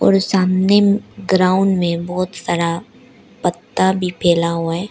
और सामने ग्राउंड में बहुत सारा पत्ता भी फैला हुआ है।